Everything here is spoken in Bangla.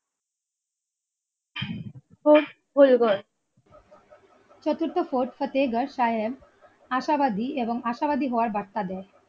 চতুর্থ ফোর্ট ফতেগার সাহেব আশাবাদী এবং আশাবাদী হওয়ার ব্যাখ্যা দেয়।